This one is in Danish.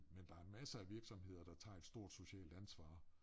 Men der masser af virksomheder der tager et stort socialt ansvar